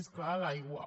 més clar l’aigua